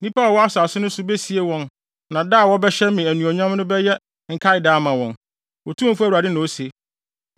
Nnipa a wɔwɔ asase no so besie wɔn na da a wɔbɛhyɛ me anuonyam no bɛyɛ nkaeda ama wɔn, Otumfo Awurade na ose.